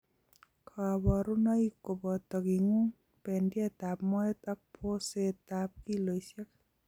Kaborunoik koboto, king'uung, bendiet ab moet ak boset ab kiloisiek